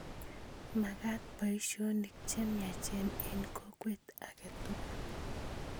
Makat poisyonik che miachen eng' kokwet ake tukul